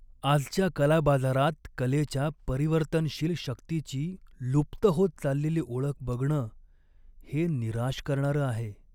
आजच्या कला बाजारात कलेच्या परिवर्तनशील शक्तीची लुप्त होत चाललेली ओळख बघणं हे निराश करणारं आहे.